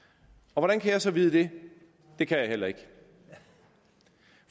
hvordan kan jeg så vide det det kan jeg heller ikke